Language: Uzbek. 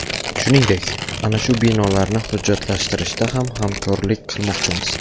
Shuningdek, ana shu binolarni hujjatlashtirishda ham hamkorlik qilmoqchimiz.